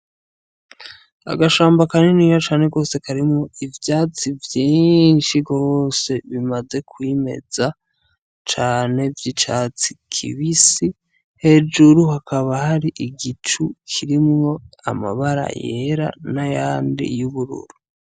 Agashamba kaniniya cane rwose karimwo ivyatsi vyiinshi rwoose bimaze kwimeza cane, vy'icatsi kibisi. Hejuru hakaba hari igicu kirimwo amabara yera n'ayandi y'ubururu.